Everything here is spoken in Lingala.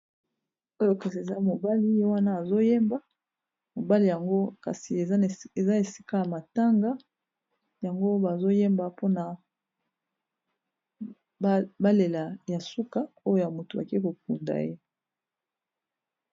oyo kasi eza mobali ye wana azoyemba mobali yango kasi eza esika ya matanga yango bazoyemba mpona balela ya suka oyo moto ake kokunda ye